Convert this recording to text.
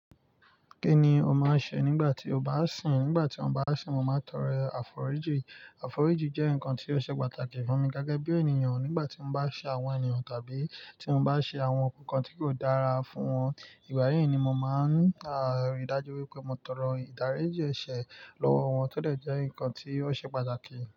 Kí ni o máa ń ṣe nígbà tí o bá sìn? Nígbà tí mo bá sìn, mo máa ń tọrọ àforíjì. Àforíjì jẹ́ nǹkan tí ó ṣe pàtàkì fún mi gẹ́gẹ́ bí ènìyàn nígbà tí mo bá ṣe àwọn ènìyàn tàbí tí mo bá ṣe àwọn nǹkan tí kò dára fún wọn. Ìgbà yíì ni mo máa ń rí dájú wípé mo tọrọ ìdáríjì ẹ̀ṣẹ̀ lọ́wọ́ wọn tọ dẹ̀ jẹ́ nǹkan tí ó ṣe pàtàkì.